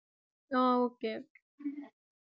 ஓ okay